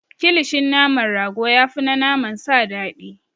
Kilishin naman rago ya fi na naman sa dadii.